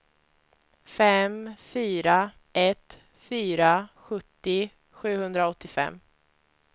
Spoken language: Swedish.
fem fyra ett fyra sjuttio sjuhundraåttiofem